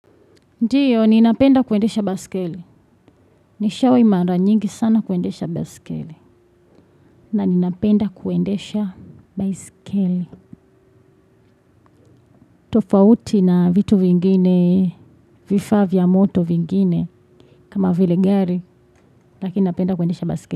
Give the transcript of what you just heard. Ndiyo, ninapenda kuendesha baiskeli. Nishawahi mara nyingi sana kuendesha baiskeli. Na ninapenda kuendesha baiskeli. Tofauti na vitu vingine, vifaa vya moto vingine, kama vile gari, lakini napenda kuendesha baiskeli.